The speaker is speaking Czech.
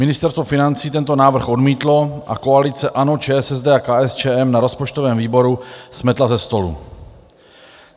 Ministerstvo financí tento návrh odmítlo a koalice ANO, ČSSD a KSČM na rozpočtovém výboru smetla ze stolu.